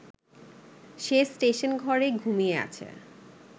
সে স্টেশনঘরে ঘুমিয়ে আছে